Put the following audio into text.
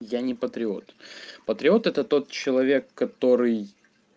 я не патриот патриот это тот человек который